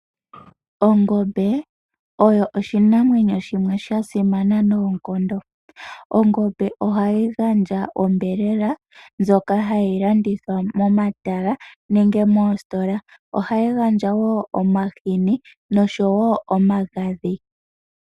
Ongombe oyo oshinamwenyo shimwe sha sima noonkondo. Ongombe ohayi gandja ombelela ndjoka hayi landithwa momatala nenge moositola. Ohayi gandja wo omahini noshowo omagadhi.